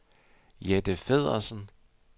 Jette Feddersen